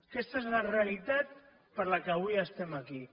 aquesta és la realitat per la qual avui estem aquí